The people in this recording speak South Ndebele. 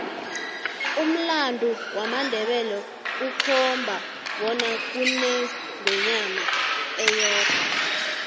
umlando wamandebele ukhomba bona kunengwenyama eyodwa